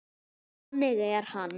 Þannig er hann.